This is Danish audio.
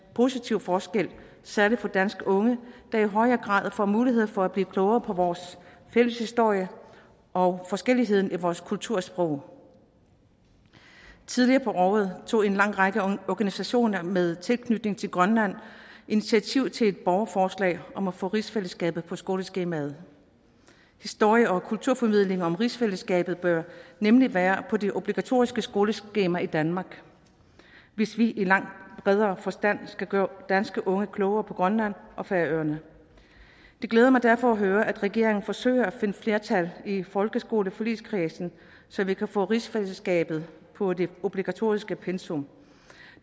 positiv forskel særlig for danske unge der i højere grad får mulighed for at blive klogere på vores fælles historie og forskelligheden i vores kultur og sprog tidligere på året tog en lang række organisationer med tilknytning til grønland initiativ til et borgerforslag om at få rigsfællesskabet på skoleskemaet historie og kulturformidling om rigsfællesskabet bør nemlig være på det obligatoriske skoleskema i danmark hvis vi langt bedre skal gøre danske unge klogere på grønland og færøerne det glæder mig derfor at høre at regeringen forsøger at finde flertal i folkeskoleforligskredsen så vi kan få rigsfællesskabet på det obligatoriske pensum